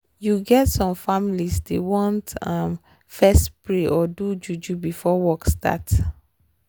you get some families dey want fess pray or do juju before work start